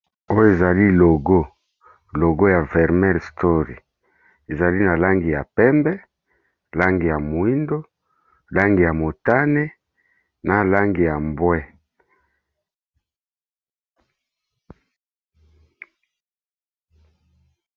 Oyo ezali logo, logo ya vermel story ezali na langi ya pembe, langi ya moyindo, langi ya motane na langi ya mbwe.